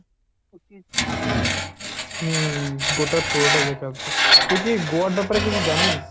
হম গোটা পুরোটা দেখে আসব, তুই কি গোয়ার ব্যাপারে কিছু জানিস?